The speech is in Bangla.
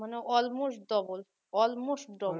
মানে almost double